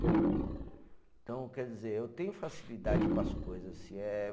Então, quer dizer, eu tenho facilidade para as coisas, se é.